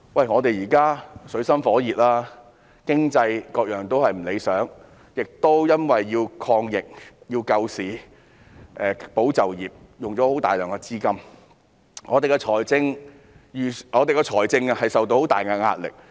我們現正處於水深火熱之中，經濟等範疇都不理想，由於政府要抗疫、救市、保就業，所以花了大量資金，令我們的財政受到很大壓力。